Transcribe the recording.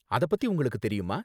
அத பத்தி உங்களுக்கு தெரியுமா?